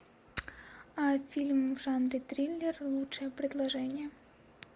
фильм в жанре триллер лучшее предложение